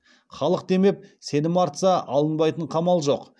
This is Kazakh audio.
халық демеп сенім артса алынбайтын қамал жоқ